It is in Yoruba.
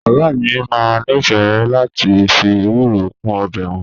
Bàbá mi máa ń nífẹ̀ẹ́ láti fi ewuro kún ọbẹ̀ wọn